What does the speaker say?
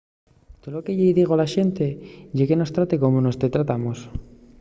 tolo que-y digo a la xente ye que mos trates como nós te tratamos